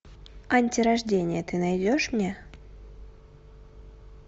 антирождение ты найдешь мне